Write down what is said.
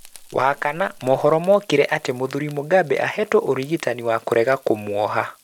Wa kana, muhoro mũkire atĩ Mũthũri Mugambe ahetwe ũrigitani wa kũrega kũmwoha